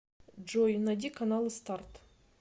джой найди каналы старт